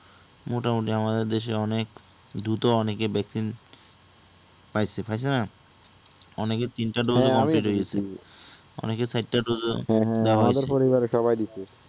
মোটামুটি আমাদের দেশে অনেক দ্রুত অনেকে vaccine পাইছে, পাইছে নাহ। অনেকে তিনটা dose এ কেটে গেছে অনেক চারটা dose ও দেওয়া হয়ছে,